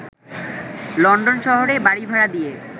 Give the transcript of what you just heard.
London শহরে বাড়িভাড়া দিয়ে